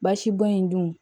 Basibɔn in dun